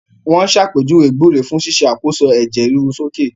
Wọ́n ṣàpèjúwe gbúre fún ṣíṣe àkóso ẹ̀jẹ̀ ríru sókè